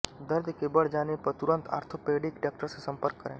दर्द के बढ़ जाने पर तुरंत ऑर्थोपेडिक डॉक्टर से संपर्क करें